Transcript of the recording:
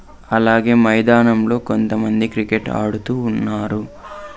అలాగే మైదానంలో కొంతమంది క్రికెట్ ఆడుతూ ఉన్నారు.